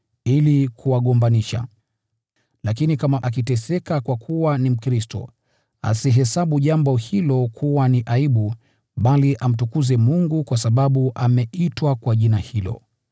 Lakini kama ukiteseka kwa kuwa Mkristo, usihesabu jambo hilo kuwa ni aibu, bali mtukuze Mungu kwa sababu umeitwa kwa jina hilo.